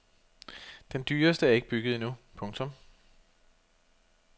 Den dyreste er ikke bygget endnu. punktum